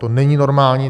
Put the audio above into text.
To není normální.